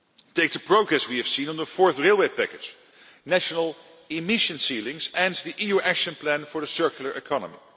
Take the progress we have seen on the Fourth Railway Package, national emission ceilings and the EU Action Plan for the Circular Economy.